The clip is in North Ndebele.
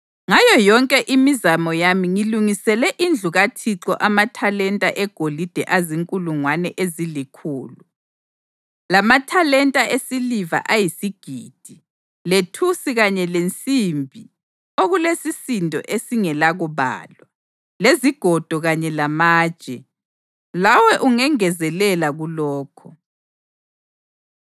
Ngayo yonke imizamo yami ngilungisele indlu kaThixo amathalenta egolide azinkulungwane ezilikhulu, lamathalenta esiliva ayisigidi, lethusi kanye lensimbi okulesisindo esingelakubalwa, lezigodo kanye lamatshe. Lawe ungengezelela kulokho.